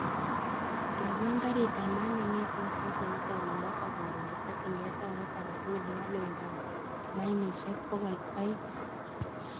Tebwon garit ab maat nengeten steshenit ab mombasa koron kotokyingei taunit agetugul nebo loindab mayiniishek bokol oeing